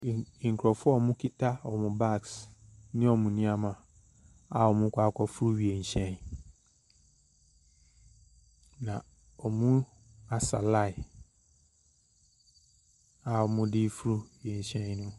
Nkurɔfoɔ a wɔkuta wɔn bags ne wɔn nneɛma, a wɔrekɔ akɔforo wiemhyɛn, na wɔasa line a wɔde reforo wiemhyɛn no.